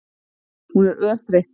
Hún er örþreytt.